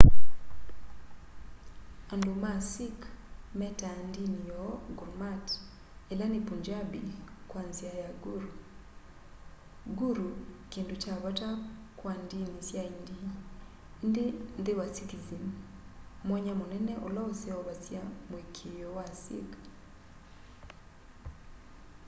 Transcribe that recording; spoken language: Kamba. andu ma sikh metaa ndini yoo gurmat ila ni punjabi kwa nzia ya guru”.guru kindu kya vata kwa ndini sya aindi indi nthi wa sikhism mwanya munene ula useovasya muikiio wa sikh